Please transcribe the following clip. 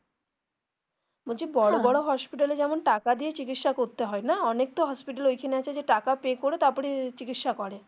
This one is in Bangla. বলছি বড়ো বড়ো hospital এ যেমন টাকা দিয়েই চিকিৎসা করতে হয় না অনেক তো hospital ঐখানে আছে যে টাকা pay করে তারপরে চিকিৎসা করে.